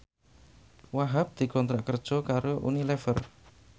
Wahhab dikontrak kerja karo Unilever